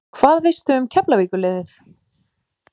Hvað veistu um Keflavíkur liðið?